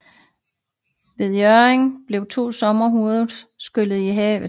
Ved Hjørring blev to sommerhuse skyllet i havet